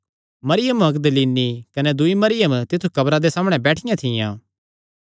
मरियम मगदलीनी कने दूई मरियम तित्थु कब्रा दे सामणै बैठियां थियां